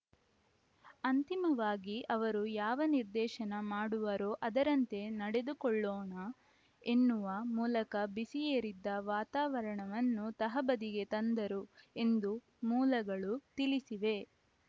ಅಂತಿಮವಾಗಿ ಅವರು ಯಾವ ನಿರ್ದೇಶನ ಮಾಡುವರೋ ಅದರಂತೆ ನಡೆದುಕೊಳ್ಳೋಣ ಎನ್ನುವ ಮೂಲಕ ಬಿಸಿಯೇರಿದ್ದ ವಾತಾವರಣವನ್ನು ತಹಬದಿಗೆ ತಂದರು ಎಂದು ಮೂಲಗಳು ತಿಳಿಸಿವೆ